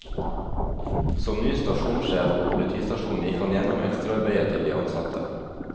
Som ny stasjonssjef på politistasjonen gikk han gjennom ekstraarbeidet til de ansatte.